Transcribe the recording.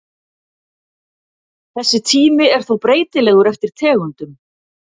Þessi tími er þó breytilegur eftir tegundum.